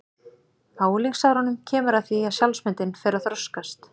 Á unglingsárunum kemur að því að sjálfsmyndin fer að þroskast.